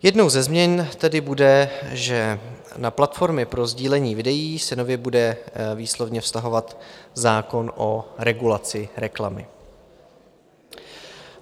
Jednou ze změn tedy bude, že na platformy pro sdílení videí se nově bude výslovně vztahovat zákon o regulaci reklamy.